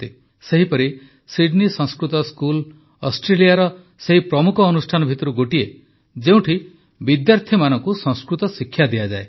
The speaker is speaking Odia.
ସେହିପରି ସିଡନୀ ସଂସ୍କୃତ ସ୍କୁଲ୍ ଅଷ୍ଟ୍ରେଲିଆର ସେହି ପ୍ରମୁଖ ଅନୁଷ୍ଠାନ ଭିତରୁ ଗୋଟିଏ ଯେଉଁଠି ବିଦ୍ୟାର୍ଥୀମାନଙ୍କୁ ସଂସ୍କୃତ ଶିକ୍ଷା ଦିଆଯାଏ